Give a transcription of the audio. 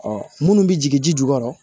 Ɔ munnu bɛ jigin ji jukɔrɔ